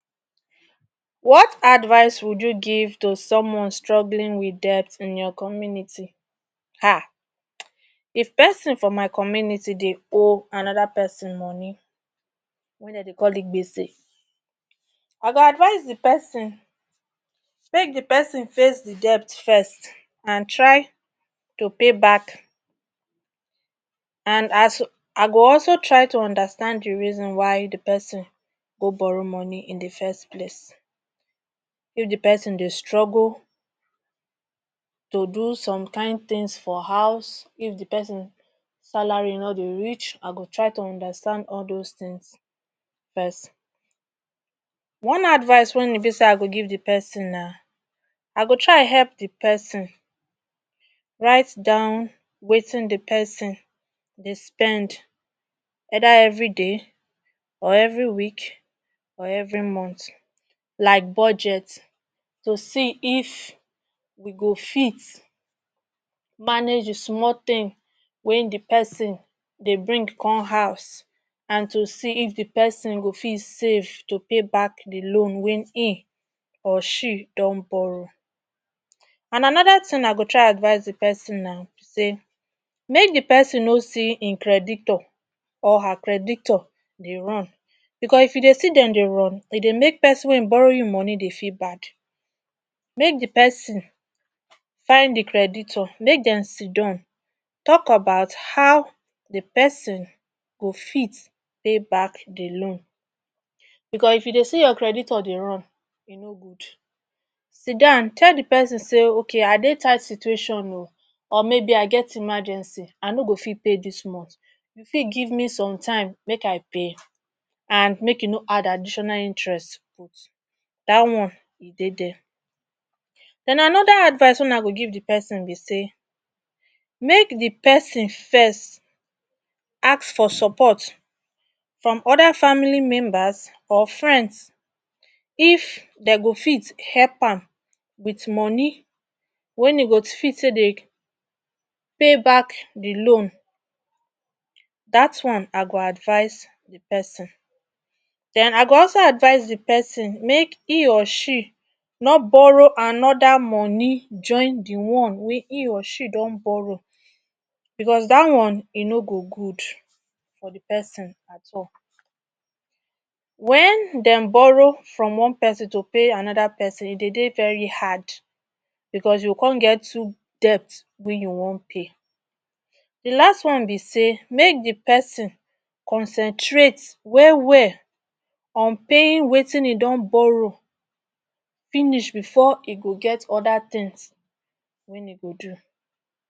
Wat advice would you give to someone struggling with debt in your community? Haaah! If pesin for my community dey owe anoda pesin money wey dem dey call igbese. I go advise di pesin make di pesin face di debt first and try to payback I go also try to understand di reason why di pesin go borrow money in di first place. If di pesin dey struggle to do some kind tins for house if di pesin salary no dey reach, I go try to understand all dos tins first. One advice wen e bi say I go give di person, na I go try help di person right down wetin di pesin dey spend either evri day or evri week, or evri month, like budget to see if we go fit manage di small tin wen di pesin dey bring come house and to see if di pesin for fit save pay back pay di loan wen im or she don borrow. And anoda tin I go try advice di pesin na im be say, make di pesin no see im creditor or her creditor dey run. Bicos if you dey see dem dey run. E dey make pesin wen borrow you money dey feel bad. Make di pesin find di creditor make dem sidon tok about how di pesin go fit pay back di loan bicos if you dey see your creditor dey run e no good. Sidon tell di pesin say, ok I dey tight situation o or maybe I get emergency I no go fit pat dis month, you fit give me sometime make I pay? And make you no add additional interest put, dat one e dey there. Den anoda advice wen I go give di pesin be say, make di pesin first ask for support from oda family members or friends if dem go fit help am wit money wen im go fit take dey pay back di loan dat one I go advice di pesin. Den I go also advise the pesin make im or she no borrow anoda money join di one wey im or she don borrow, bicos dat one e no go good for di person at all. Wen dem borrow from one pesin to pay anoda pesin, e dey very hard bicos you go come get two debts wey you wan pay. Di last one be say make di pesin concentrate wel wel on paying wetin im don borrow finish bifor e go get oda tins wen im go do